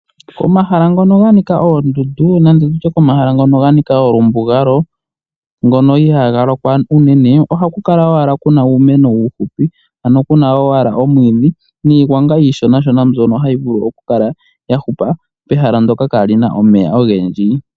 Komahala ngono ganika oondundu nenge tutye komahala ngoka ganika omalumbugalo ngono ihaa galokwa unene ohaku kala owala muna uumeno uufupi ano kuna owala omwiidhi nijgwanga iishona shona mbyono okukala ya hupa pehala ndoka kaapuna omeya ogendji.